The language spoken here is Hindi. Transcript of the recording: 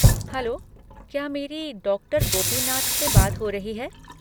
हैलो, क्या मेरी डॉक्टर गोपीनाथ से बात हो रही है?